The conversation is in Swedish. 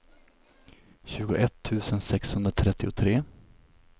tjugoett tusen sexhundratrettiotre